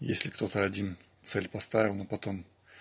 если кто-то один цель поставил но потом